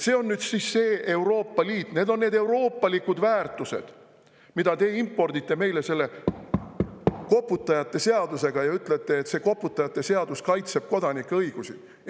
See on nüüd siis see Euroopa Liit, need on need euroopalikud väärtused, mida te impordite meile selle koputajate seadusega ja ütlete, et see koputajate seadus kaitseb kodanike õigusi?